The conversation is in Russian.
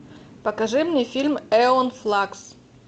покажи мне фильм эон флакс